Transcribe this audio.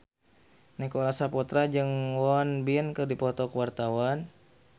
Nicholas Saputra jeung Won Bin keur dipoto ku wartawan